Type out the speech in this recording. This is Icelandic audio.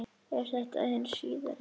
Er þetta hin síðari